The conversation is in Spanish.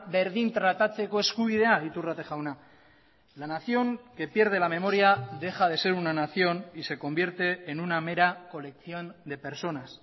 berdin tratatzeko eskubidea iturrate jauna la nación que pierde la memoria deja de ser una nación y se convierte en una mera colección de personas